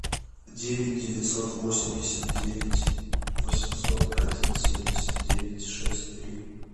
девять девятьсот восемьдесят девять восемьсот один семьдесят девять шесть три